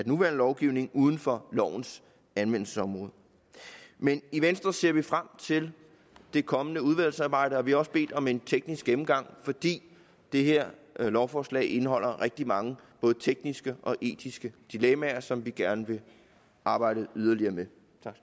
nuværende lovgivning uden for lovens anvendelsesområde men i venstre ser vi frem til det kommende udvalgsarbejde og vi har også bedt om en teknisk gennemgang fordi det her lovforslag indeholder rigtig mange både tekniske og etiske dilemmaer som vi gerne vil arbejde yderligere med